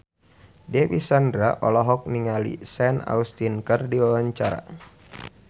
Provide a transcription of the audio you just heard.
Dewi Sandra olohok ningali Sean Astin keur diwawancara